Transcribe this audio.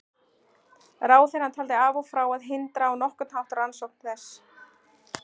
Ráðherrann taldi af og frá að hindra á nokkurn hátt rannsókn þess.